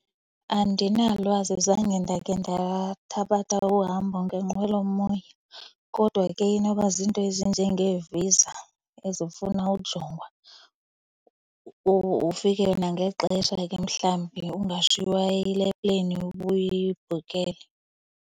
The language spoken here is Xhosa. Andinalwazi. Zange ndake ndathabatha uhambo ngenqwelomoya kodwa ke inoba zinto ezinjengeeViza ezifuna ukujongwa. Ufike nangexesha ke mhlawumbi ungashiywa yile plane ubuyibhukhele.